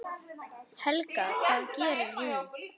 Helga: Hvað gerir hún?